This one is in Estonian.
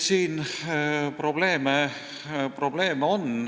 Siin probleeme on.